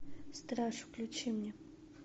страж включи мне